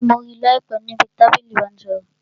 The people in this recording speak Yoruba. Mo rí láìpé níbi tábìlì ìbánisọ̀rọ̀